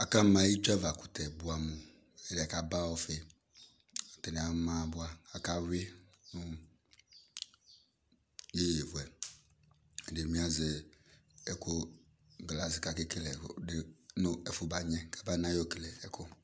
Akama itsuava kʋtɛ buɛ amʋ, ɛdi yɛ k'aba ɔfi Atani ama bua k'aka yui nʋ yeye fuɛ, ɛdini bi azɛ ɛkʋ glace k'akekele ɛɣlʋdi n'ɛfʋ magnɛ kabanayɔ kele ɛkʋ